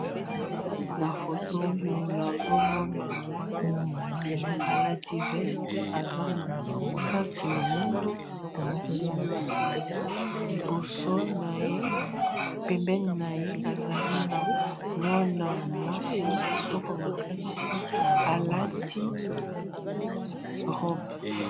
Na foto oyo nazomona mwana mobali alati veste aza na sac ya mwindo liboso na ye pembeni na ye ezali na mwana mwasi kitoko makasi alati robe.